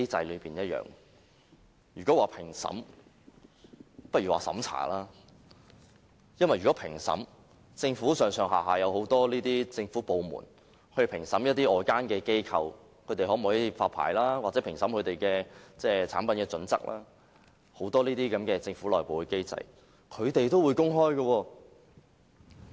與其說是評審，倒不如說是審查，因為如果是評審，政府上下有很多政府部門，負責評審外間機構可否發牌，或評審他們的產品標準等，很多這些政府內部機制，也是會公開的。